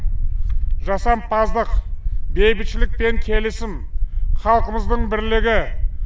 жасампаздық бейбітшілік пен келісім халқымыздың бірлігі